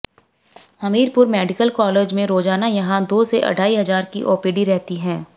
Hamirpur medical college में रोजाना यहां दो से अढ़ाई हजार की ओपीडी रहती है